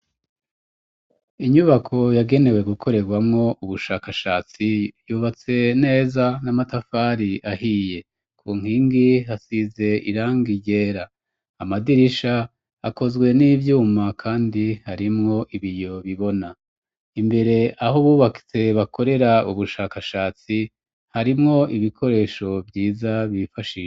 Inyubako yagenewe gukorerwamwo ubushakashatsi, yubatse neza n'amatafari ahiye, ku nkingi hasize irangi ryera, amadirisha akozwe n'ivyuma kandi harimwo ibiyo bibona, imbere aho bubatse bakorera ubushakashatsi, harimwo ibikoresho vyiza bifashisha.